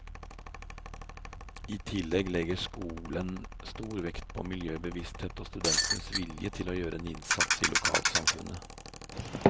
I tillegg legger skolen stor vekt på miljøbevissthet og studentenes vilje til å gjøre en innsats i lokalsamfunnet.